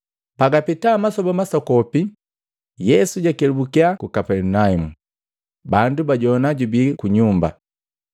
Pagapeta masoba masokopi, Yesu jakelubukya ku Kapelinaumu, bandu bajoana jubii ku nyumba.